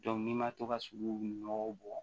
ni ma to ka sugu nɔgɔ bɔn